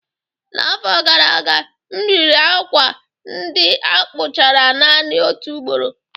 N'afọ gara aga, m riri akwa ndị a kpụchara naanị otu ugboro